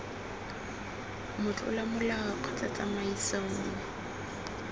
motlola molao kgotsa tsamaiso nngwe